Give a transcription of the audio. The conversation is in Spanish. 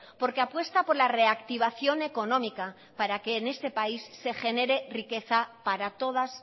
porque apuesta por la reactivación económica para que en este país se genera riqueza para todas